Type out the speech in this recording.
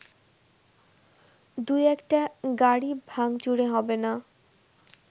দু একটা গাড়ি ভাংচুরে হবেনা